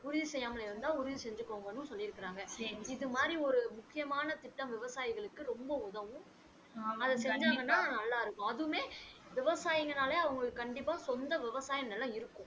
உறுதி செய்யாம இருந்தா உறுதி செஞ்சிக்கோங்கனும் சொல்லிருக்காங்க இது மாறி ஒரு முக்கியமான திட்டம் விவசாயிகளுக்கு ரொம்ப உதவும் அத செஞ்சாங்கன்னா நல்லா இருக்கும் அதுமே விவசாயிங்கனாலே அவங்களுக்கு கண்டிப்பாக சொந்த விவசாய நிலம் இருக்கும்